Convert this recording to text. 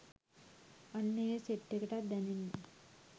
අන්න ඒ සෙට් එකටත් දැනෙන්න